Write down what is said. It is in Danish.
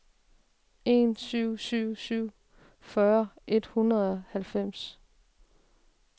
en syv syv syv fyrre et hundrede og halvfems